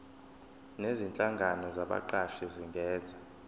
nezinhlangano zabaqashi zingenza